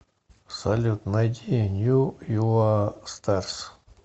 салют найди нью юа старс